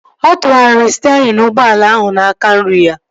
Ọ tụgharịrị sterịn ụgbọala ahụ n'aka nri ya